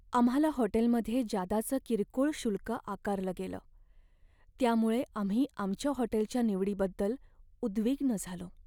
आम्हाला हॉटेलमध्ये जादाचं किरकोळ शुल्क आकारलं गेलं, त्यामुळे आम्ही आमच्या हॉटेलच्या निवडीबद्दल उद्विग्न झालो.